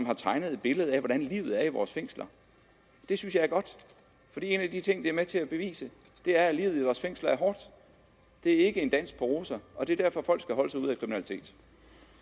har tegnet et billede af hvordan livet er i vores fængsler det synes jeg er godt for en af de ting de er med til at bevise er at livet i vores fængsler er hårdt det er ikke en dans på roser og det er derfor at folk skal holde sig ude